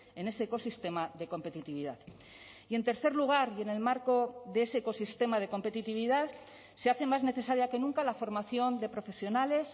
en ese ecosistema de competitividad y en tercer lugar y en el marco de ese ecosistema de competitividad se hace más necesaria que nunca la formación de profesionales